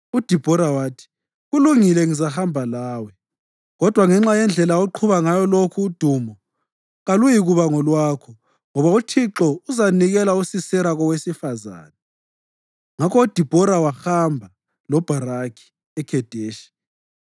UDibhora wathi, “Kulungile, ngizahamba lawe. Kodwa ngenxa yendlela oqhuba ngayo lokhu udumo kaluyikuba ngolwakho, ngoba uThixo uzanikela uSisera kowesifazane.” Ngakho uDibhora wahamba loBharakhi eKhedeshi